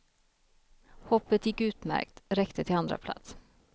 Hoppet gick utmärkt, räckte till andraplats.